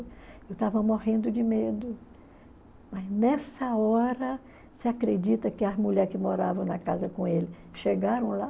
Eu estava morrendo de medo, mas nessa hora, você acredita que as mulher que moravam na casa com ele chegaram lá?